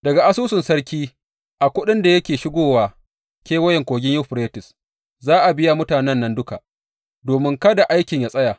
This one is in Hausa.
Daga asusun sarki a kuɗin da yake shigo wa Kewayen Kogin Yuferites za a biya mutanen nan duka, domin kada aikin yă tsaya.